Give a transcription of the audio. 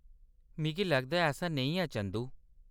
मिगी लगदा ऐ ऐसा नेईं है, चंदू।